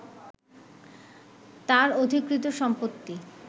তার অধিকৃত সম্পত্তি